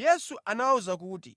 Yesu anawawuza kuti,